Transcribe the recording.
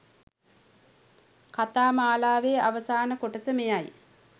කතා මාලාවේ අවසාන කොටස මෙයයි.